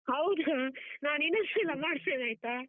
ಹೌದಾ, ನಾನಿನ್ನೊಂದ್ಸಲ ಮಾಡ್ತೇನೆ ಆಯ್ತಾ?